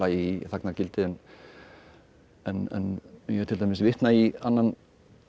í þagnargildi en ég til dæmis vitna í annan